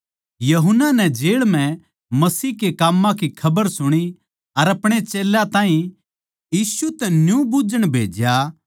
यूहन्ना नै जेळ म्ह मसीह के काम्मां की खबर सुणी अर अपणे चेल्यां ताहीं यीशु तै न्यू बुझ्झण भेज्या